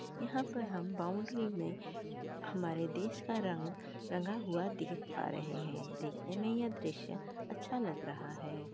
यहाँ पर हम बॉउंड्री मै हमारे देश का रंग रंगा हुआ देख पा रहे है। देखने मै यह दृश्य अच्छा लग रहा है।